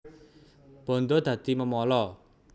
Bandha dadi memala